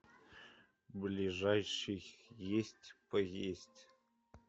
ближайший есть поесть